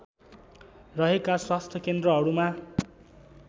रहेका स्वास्थ्य केन्द्रहरूमा